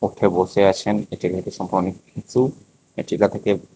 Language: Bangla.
উঠে বসে আছেন অনেককিছু এ টিলা থেকে--